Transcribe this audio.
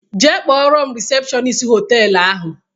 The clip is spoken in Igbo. Jee kpọrọ m risepshọnist họtelu ahụ!